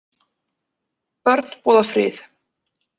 Börn boða frið